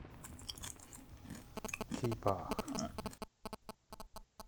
кипах